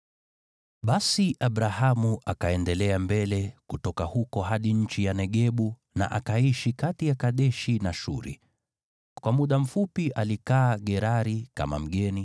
Basi Abrahamu akaendelea mbele kutoka huko hadi nchi ya Negebu na akaishi kati ya Kadeshi na Shuri. Kwa muda mfupi alikaa Gerari kama mgeni,